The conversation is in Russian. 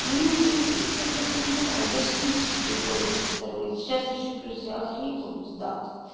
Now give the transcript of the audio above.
ну я как бы знаю я же слышу свой голос со стороны сейчас ещё плюс я охрипла пиздато